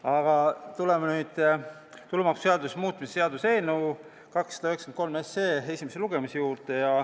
Aga tuleme nüüd tulumaksuseaduse muutmise seaduse eelnõu 293 esimese lugemise juurde.